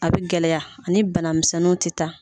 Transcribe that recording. A bɛ gɛlɛya ani bana misɛnninw tɛ taa.